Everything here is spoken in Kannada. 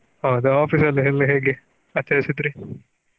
ಹೌದಾ Office ಅಲ್ಲಿ ಎಲ್ಲ ಹೇಗೆ ಆಚರಿಸಿದ್ರಿ?